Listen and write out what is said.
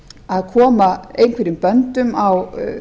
að koma einhverjum böndum á